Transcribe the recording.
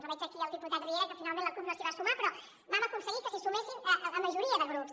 veig aquí el diputat riera que finalment la cup no s’hi va sumar però vam aconseguir que s’hi sumés la majoria de grups